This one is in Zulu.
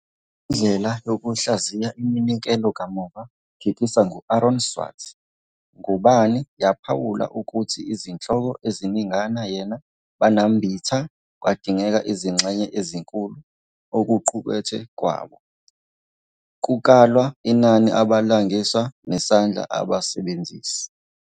Le ndlela yokuhlaziya iminikelo kamuva phikisa ngu-Aaron Swartz, ngubani yaphawula ukuthi izihloko eziningana yena banambitha kwadingeka izingxenye ezinkulu okuqukethwe kwabo, kukalwa inani abalingiswa, nesandla abasebenzisi.